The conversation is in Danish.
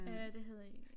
Er det hedder en